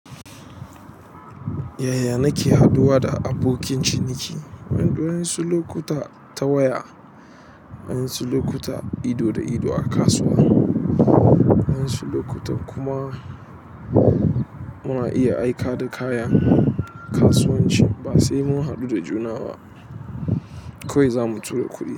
Yaya nake haɗuwa da abokin ciniki? Dun wa'yansu lokuta ta waya, wa'yansu sulokuta ido da ido a kasuwa. Wa'yansu lokuta kuma muna iya aika da kaya kasuwancin ba sai mun haɗu da juna ba. Kowai za mu tura kuɗi.